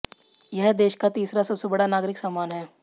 यह देश का तीसरा सबसे बड़ा नागरिक सम्मान है